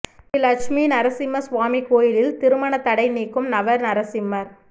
ஸ்ரீலட்சுமி நரசிம்ம சுவாமி கோயிலில் திருமண தடை நீக்கும் நவ நரசிம்மர்